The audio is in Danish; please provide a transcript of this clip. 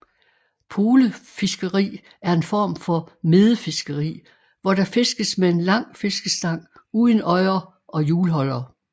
Polefiskeri er en form for medefiskeri hvor der fiskes med en lang fiskestang uden øjer og hjulholder